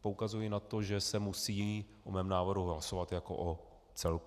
poukazuji na to, že se musí o mém návrhu hlasovat jako o celku.